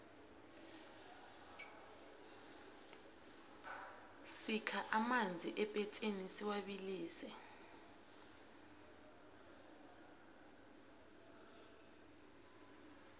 sikha amanzi epetsini siwabilise